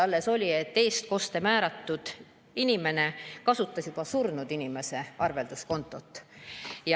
Alles oli juhus, et eestkostjaks määratud inimene kasutas juba surnud inimese arvelduskontot.